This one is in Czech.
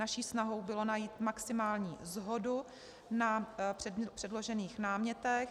Naší snahou bylo najít maximální shodu na předložených námětech.